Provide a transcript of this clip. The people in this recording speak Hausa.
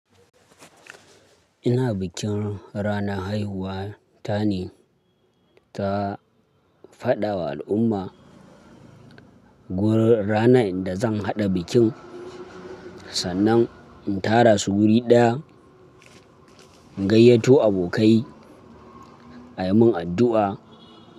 Ina bikin ranar haihuwa ta ne. Ta faɗawa al'umma wurin ranar da zan haɗa bikin sannan in tara su wuri ɗaya, in gayyato abokai, a yi min addu'a.